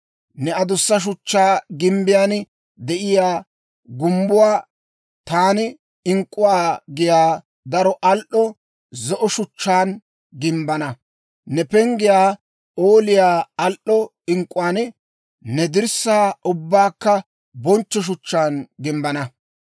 Ne adussa shuchchaa gimbbiyaan de'iyaa gumbbuwaa taani ink'k'uwaa giyaa daro al"o zo'o shuchchaan gimbbana; ne penggiyaa p'ooliyaa al"o ink'k'uwaan, ne dirssaa ubbaakka bonchcho shuchchaan gimbbana.